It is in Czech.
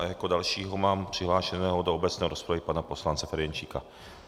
A jako dalšího mám přihlášeného do obecné rozpravy pana poslance Ferjenčíka.